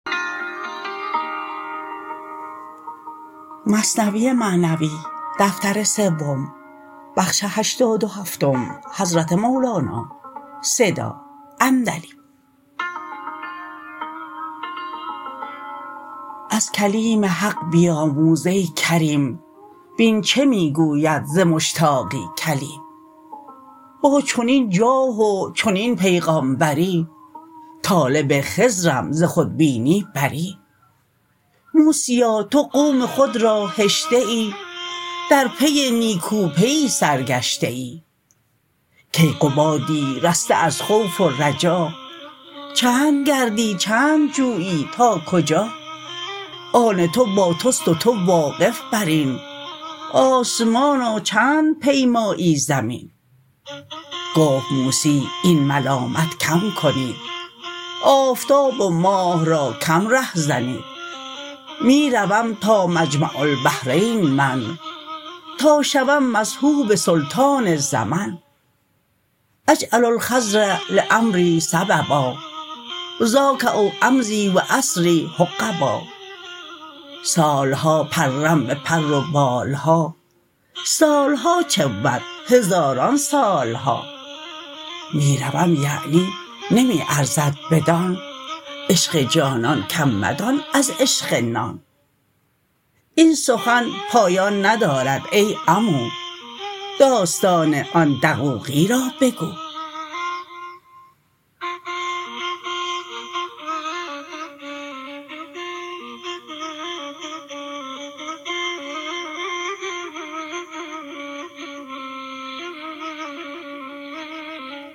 از کلیم حق بیاموز ای کریم بین چه می گوید ز مشتاقی کلیم با چنین جاه و چنین پیغامبری طالب خضرم ز خودبینی بری موسیا تو قوم خود را هشته ای در پی نیکوپیی سرگشته ای کیقبادی رسته از خوف و رجا چند گردی چند جویی تا کجا آن تو با تست و تو واقف برین آسمانا چند پیمایی زمین گفت موسی این ملامت کم کنید آفتاب و ماه را کم ره زنید می روم تا مجمع البحرین من تا شوم مصحوب سلطان زمن اجعل الخضر لامری سببا ذاک او امضی و اسری حقبا سال ها پرم به پر و بال ها سال ها چه بود هزاران سال ها می روم یعنی نمی ارزد بدان عشق جانان کم مدان از عشق نان این سخن پایان ندارد ای عمو داستان آن دقوقی را بگو